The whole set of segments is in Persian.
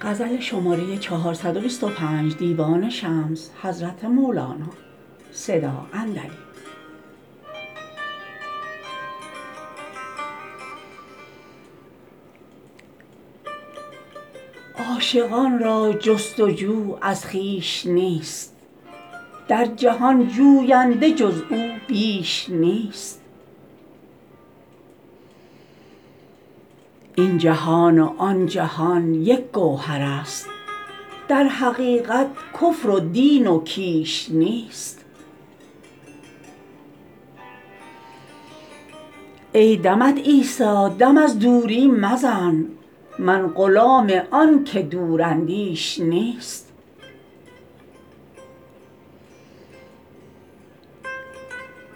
عاشقان را جست و جو از خویش نیست در جهان جوینده جز او بیش نیست این جهان و آن جهان یک گوهر است در حقیقت کفر و دین و کیش نیست ای دمت عیسی دم از دوری مزن من غلام آن که دوراندیش نیست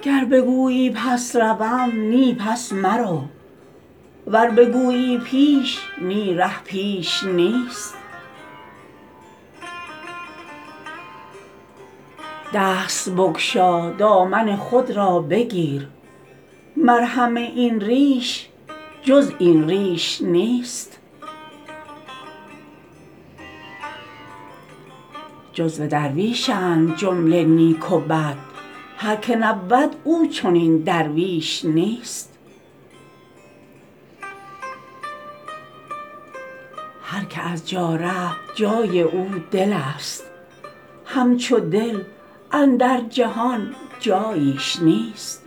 گر بگویی پس روم نی پس مرو ور بگویی پیش نی ره پیش نیست دست بگشا دامن خود را بگیر مرهم این ریش جز این ریش نیست جزو درویشند جمله نیک و بد هر که نبود او چنین درویش نیست هر که از جا رفت جای او دل است همچو دل اندر جهان جاییش نیست